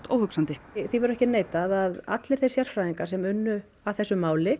óhugsandi því verður ekki neitað að allir þeir sérfræðingar sem unnu að þessu máli